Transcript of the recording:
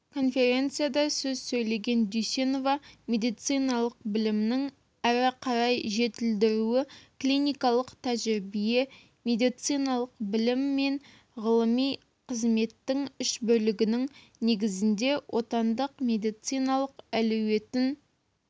конференцияда сөз сөйлеген дүйсенова медициналық білімнің әрі қарай жетілдірілуі клиникалық тәжірибе медициналық білім мен ғылыми қызметтің үшбірлігінің негізінде отандық медициналық әлеуетін